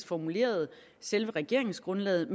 formulerede selve regeringsgrundlaget